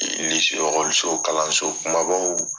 lise okɔliso kalansokumabaw